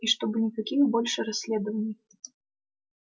и чтобы никаких больше расследований